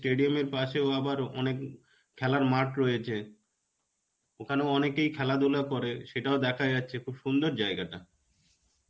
stedium এর পাশেও আবার অনেক খালার মাঠ রয়েছে. ওখানেও অনেকেই খেলা ধুলা করে.সেটাও দেখা যাচ্ছে. খুব সুন্দর জায়গাটা.